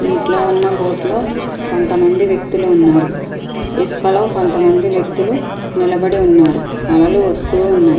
నీటిలో ఉన్న బోట్ లో కొంతమంది వ్యక్తులు ఉన్నారు. ఇసుకలో కొంతమంది వ్యక్తులు నిలబడి ఉన్నారు అలలు వస్తున్నాయి.